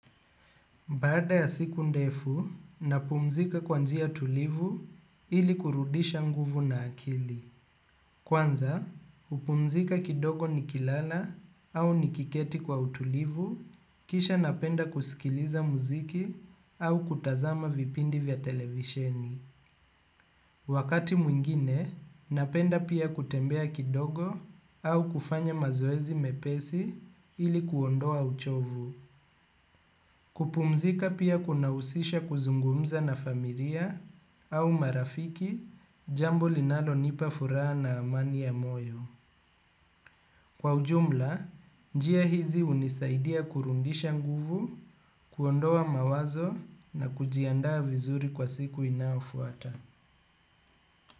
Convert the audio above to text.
Baada ya siku ndefu, napumzika kwa njia tulivu ili kurudisha nguvu na akili. Kwanza, hupumzika kidogo nikilala au nikiketi kwa utulivu, kisha napenda kusikiliza muziki au kutazama vipindi vya televisheni. Wakati mwingine, napenda pia kutembea kidogo au kufanya mazoezi mepesi ili kuondoa uchovu. Kupumzika pia kunahusisha kuzungumza na familia au marafiki jambo linalo nipa furaha na amani ya moyo. Kwa ujumla, njia hizi hunisaidia kurudisha nguvu, kuondoa mawazo na kujiandaa vizuri kwa siku inayofuata.